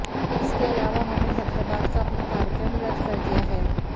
इसके अलावा उन्होंने हैदराबाद का अपना कार्यक्रम रद्द कर दिया है